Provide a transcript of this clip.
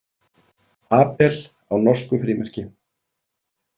Abel á norsku frímerki.